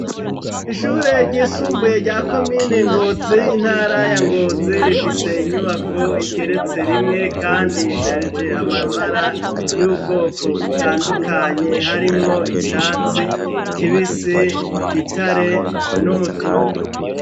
Ishure ryisumbuye rya komine ngozi, intara ya ngozi rifise inyubako igeretse rimwe kandi isharije amabara y'ubwoko butandukanye harimwo iatsi kibisi, gitare n'umutuku.